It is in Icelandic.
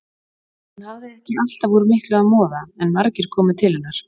Hún hafði ekki alltaf úr miklu að moða en margir komu til hennar.